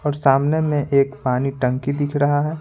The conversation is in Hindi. और सामने में एक पानी टंकी दिख रहा है।